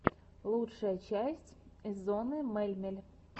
лучшая часть эзонны мельмель